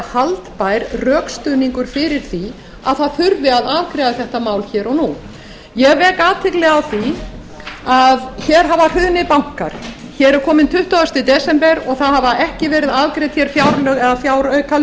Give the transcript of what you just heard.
haldbær rökstuðningur fyrir því að það þurfi að afgreiða þetta mál hér og nú ég vek athygli á því að hér hafa hrunið bankar hér er kominn tuttugasta desember og það hafa ekki verið afgreidd hér fjárlög eða fjáraukalög fólk